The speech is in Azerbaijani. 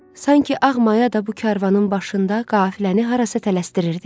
Sanki Ağmaya da bu karvanın başında qafiləni harasa tələsdirirdi.